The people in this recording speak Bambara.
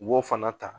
U b'o fana ta